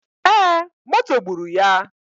E, moto gburu ya.